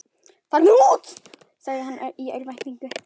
Farðu út, sagði hann í örvæntingu.